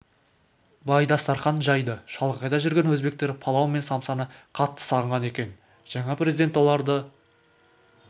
бай дастархан жайды шалғайда жүрген өзбектер палау мен самсаны қатты сағынған екен жаңа президент оларды